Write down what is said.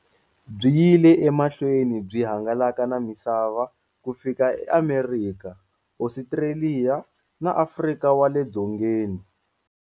Byi yile emahlweni byi hangalaka na misava ku fika eAmerika, Ostraliya na Afrika wale dzongeni.